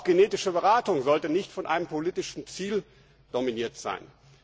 Auch genetische Beratung sollte nicht von einem politischen Ziel dominiert sein.